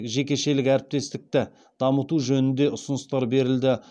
жекешелік әріптестікті дамыту жөнінде ұсыныстар берілді